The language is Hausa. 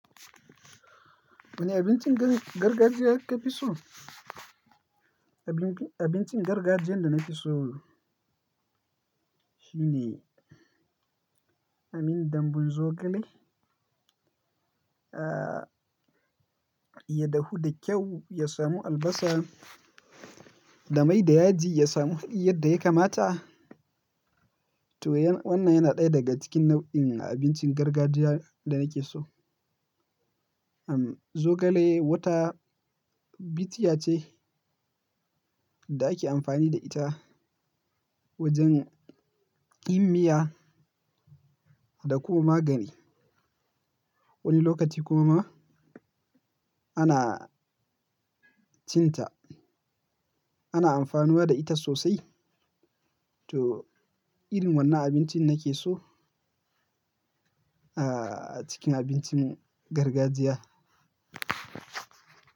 Wani abincin garg-gargajiya kafi so? Abincin, abincin gargajiyan da na fi so shine, amin dambun zogale. Ah, ya dahu da kyau, ya samu albasa, da mai da yaji, ya samu hadi yadda ya kamata. To yan wannan yana ɗaya daga cikin nau'in abincin gargajiya da nake so. Am, zogale wata bishiya ce da ake amfani da ita wajen yin miya, da kuma magani. Wani lokaci kuma ana cinta. Ana amfanuwa da ita sosai. To, irin wannan abincin nake so, ah, cikin abincin gargajiya.